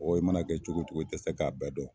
I mana kɛ cogo cogo i tɛ se k'a bɛɛ dɔn.